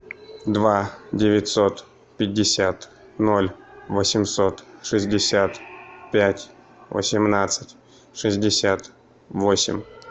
два девятьсот пятьдесят ноль восемьсот шестьдесят пять восемнадцать шестьдесят восемь